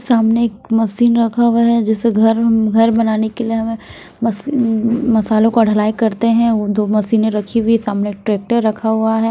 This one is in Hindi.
सामने एक मशीन रखा हुआ है जिससे घर घर बनाने के लिए हमें मस मसालों को अ ढलाई करते हैं वो दो मशीनें रखी हुई हैं सामने ट्रैक्टर रखा हुआ है।